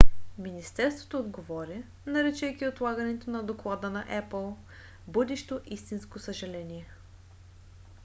министерството отговори наричайки отлагането на доклада на apple будещо истинско съжаление.